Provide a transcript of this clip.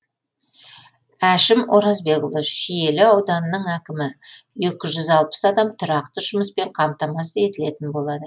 әшім оразбекұлы шиелі ауданының әкімі екі жүз алпыс адам тұрақты жұмыспен қамтамасыз етілетін болады